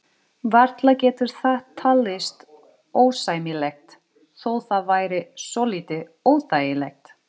Varla getur það talist ósæmilegt, þó það væri svolítið óþægilegt.